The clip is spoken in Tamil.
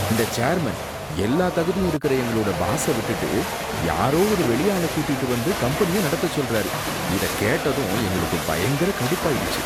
இந்த சேர்மன் எல்லா தகுதியும் இருக்குற எங்களோட பாஸ விட்டுட்டு யாரோ ஒரு வெளியாள கூட்டிட்டு வந்து கம்பெனிய நடத்த சொல்லுறாரு, இத கேட்டதும் எங்களுக்கு பயங்கர கடுப்பாயிடுச்சு.